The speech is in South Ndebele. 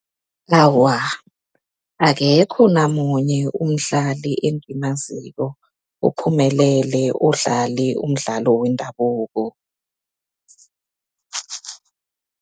Awa, akekho namunye umdlali engimaziko ophumelele odlale umdlalo wendabuko.